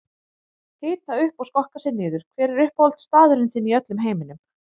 Hita upp og skokka sig niður Hver er uppáhaldsstaðurinn þinn í öllum heiminum?